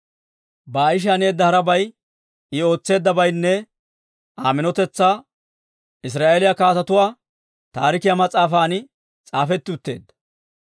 Baa'ishi haneedda harabay, I ootseeddabaynne Aa minotetsaa Israa'eeliyaa Kaatetuu Taarikiyaa mas'aafan s'aafetti utteedda.